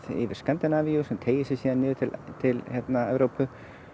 yfir Skandinavíu sem teygir sig niður til Evrópu